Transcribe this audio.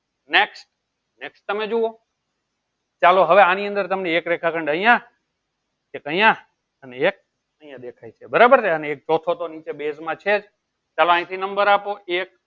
next next તમે જુઓ ચાલો હવે આની અંદર તમને એક રેખાખંડ અહિયાં એક અહિયાં અને એક અહિયાં દેખાય છે બરાબર ને અને એક ચોથો તો નીચે base માં છે જ ચાલો અહિયાથી number આપો એક